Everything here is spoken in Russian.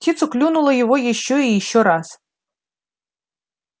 птица клюнула его ещё и ещё раз